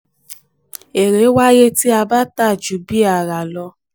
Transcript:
èrè wáyé tí a bá tà ju bí a rà lọ.